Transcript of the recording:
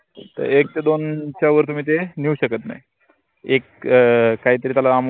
त एक ते दोनच्या वर तुम्ही ते नेऊ शकत नाई एक अं काहीतरी त्याला amount